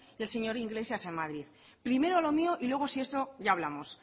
y el señor iglesias en madrid primero lo mío y luego si eso ya hablamos